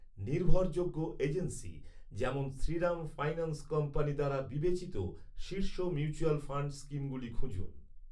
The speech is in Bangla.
নির্ভরযোগ্য এজেন্সি যেমন শ্রীরাম ফাইন্যান্স কোম্পানি দ্বারা বিবেচিত শীর্ষ মিউচুয়াল ফান্ড স্কিমগুলি খুঁজুন।